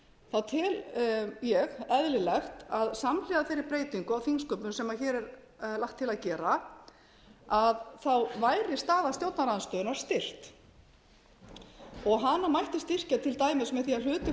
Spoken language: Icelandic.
þjóðþingum tel ég eðlilegt að samhliða þeirri breytingu á þingsköpum sem hér er lagt til að gera væri staða stjórnarandstöðunnar styrkt og hana mætti styrkja til dæmis með því að hluti